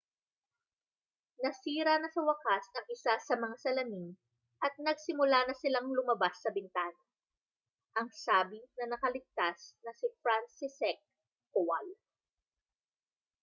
nasira na sa wakas ang isa sa mga salamin at nagsimula na silang lumabas sa bintana ang sabi ng nakaligtas na si franciszek kowal